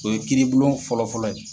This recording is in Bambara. O ye kiiri bulon fɔlɔ fɔlɔ ye.